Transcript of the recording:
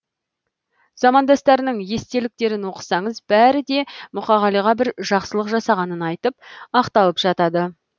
замандастарының естеліктерін оқысаңыз бәрі де мұқағалиға бір жақсылық жасағанын айтып ақталып жатады